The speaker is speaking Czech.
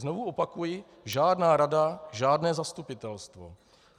Znovu opakuji, žádná rada, žádné zastupitelstvo.